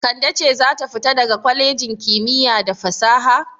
Kande ce za ta fita daga kwalejin kimiyya da fasaha.